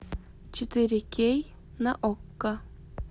четыре кей на окко